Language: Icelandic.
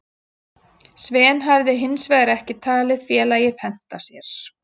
Sven hafi hinsvegar ekki talið félagið henta sér.